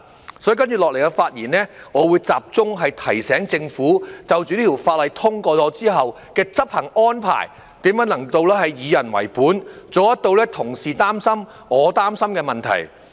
因此，在接下來的發言，我會集中提醒政府在《條例草案》通過後的執行安排，如何能做到以人為本，處理同事擔心而我也擔心的問題。